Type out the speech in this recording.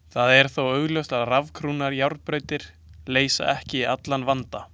Það er þó augljóst, að rafknúnar járnbrautir leysa ekki allan vanda.